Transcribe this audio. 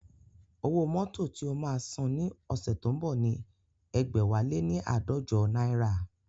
Owó mótò tí o máa san ní oṣù tó ń bọ̀ ni ẹgbẹ̀wáléní aadọjọ náírà